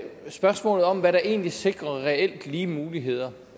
spørgsmålet om hvad der egentlig sikrer reelt lige muligheder